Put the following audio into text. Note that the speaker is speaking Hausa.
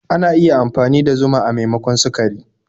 Ana iya amfani da zuma a maimakon sukari.